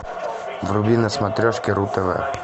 вруби на смотрешке ру тв